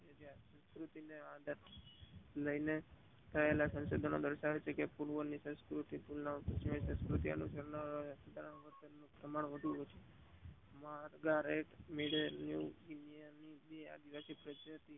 તેને લઇ ને સંશોધનો દર્શાવે છે કે પૂર્વ ની સંસ્કુતિ ની તુલના કરતા અતિયાર ની સંકૃતિ ની તુલના વધારે છે.